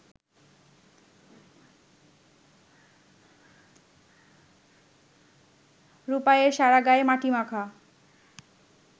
রূপাইয়ের সারা গায়ে মাটি মাখা